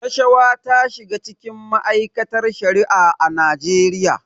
Rashawa ta shiga cikin ma'aikatar Shari'a a Najeriya.